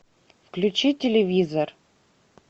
включи телевизор